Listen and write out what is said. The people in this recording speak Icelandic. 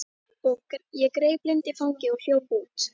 Ég greip Lindu í fangið og hljóp út.